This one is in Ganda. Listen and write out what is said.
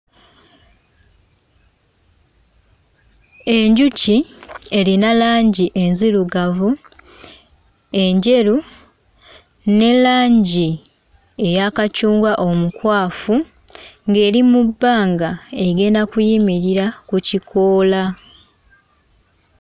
Enjuki erina langi enzirugavu, enjeru ne langi eya kacungwa omukwafu, ng'eri mu bbanga egenda kuyimirira ku kikoola.